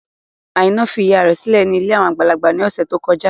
Àìná fi ìyá rẹ̀ sílẹ̀ sí ilé àwọn àgbàlagbà ní ọ̀sẹ̀ tó kọjá.